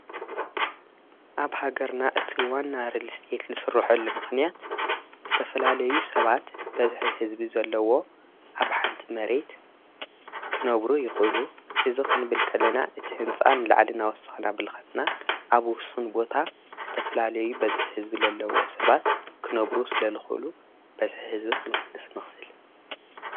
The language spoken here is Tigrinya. ኣብ ሃገርና እቲ ዋና ርልስየት ልሥርሑሉምኽንያት ስተፈላልዩ ሰባት በዝኂ ሕዝቢ ዘለዎ ኣብ ሓንቲ መሬት ክነብሩ ይዂሉ እዝ ኽንብልከልና እቲ ሕንፃን ለዓሊን ኣወስኽና ብልኽድና ኣብኡውሱን ቦታ ዝተፈላለዩ በዝኂ ሕዝቢ ዘለዎ ሰባት ክኖብሩ ስለ ልዂሉ በዝሕ ሕዝቢ ኽንቕንድ ስ ንኽል::